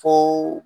Fo